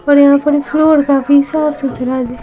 और यहाँ पर फ्लोर का भी साफ-सुथरा है।